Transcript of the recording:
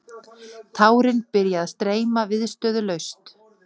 Tárin byrja að streyma, viðstöðulaust.